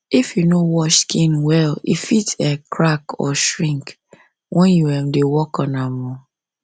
if you no wash skin well e fit um crack or shrink when you um dey work on am o